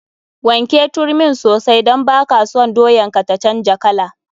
Wanke turmin sosai don baka son doyan ka ta canja kala.